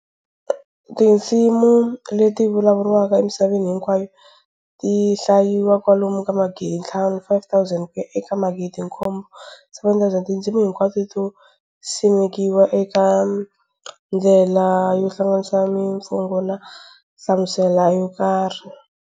Tindzimi leti vulavuriwaka emisaveni hinkwayo tihlayiwa kwalomu ka magidinthlanu, 5,000, kuya eka magidinkombo, 7,000. Tindzimi hiknwato to tisimekiwa eka ndlela yo hlanganisa mifungo na nhlamuselo yokarhi.